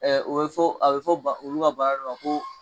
o bi fɔ a bi fɔ olu ka bana de ma ko